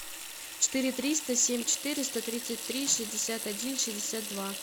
четыре триста семь четыреста тридцать три шестьдесят один шестьдесят два